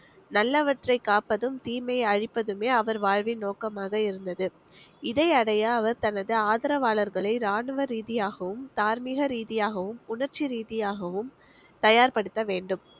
நல்லவற்றை காப்பதும் தீமையை அழிப்பதுமே அவர் வாழ்வின் நோக்கமாக இருந்தது இதை அடைய அவர் தனது ஆதரவாளர்களை இராணுவ ரீதியாகவும், தார்மீக ரீதியாகவும், உணர்ச்சி ரீதியாகவும் தயார்படுத்தவேண்டும்.